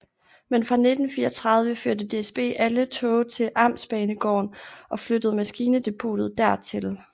Men fra 1934 førte DSB alle tog til amtsbanegården og flyttede maskindepotet dertil